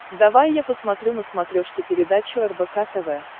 давай я посмотрю на смотрешке передачу рбк тв